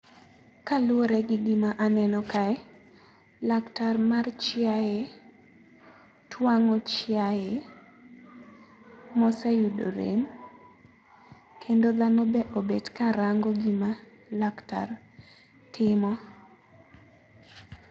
Kaluore gi gi ma aneno kae, laktar mar chiae twang'o chiae, mo oseyudo rem kendo dhano be obet ka rango gi ma laktar timo.